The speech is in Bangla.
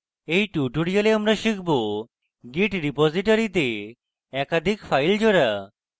in tutorial আমরা শিখব : git repository তে একাধিক files জোড়া